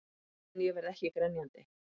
En ég verð ekki grenjandi.